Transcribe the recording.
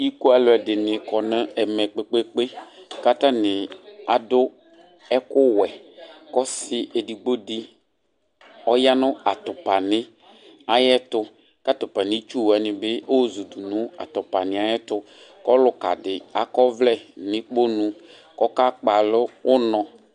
Iku aluɛdini kɔ nu ɛmɛ kpekpe kpe ɛvɛ adu ɛku wɛ ɔsi edigbo di ɔya nu atupani ayɛtu ku atupani ayitsu wani bi ayɔ zudu nu atupani yɛ tu ku ɔlukadi akɔ ɔvlɛ nu ukpɔnu ku ɔka Kpali uno